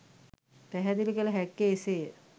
පැහැදිලි කල හැක්කේ එසේය.